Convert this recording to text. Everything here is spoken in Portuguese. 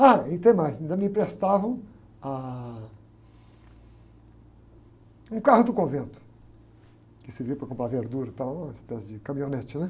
Ah, e tem mais, ainda me emprestavam ah, um carro do convento, que servia para comprar verdura e tal, uma espécie de caminhonete, né?